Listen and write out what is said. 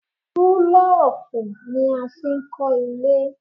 Búlọ̀kù ni a fi n kọ́ ilé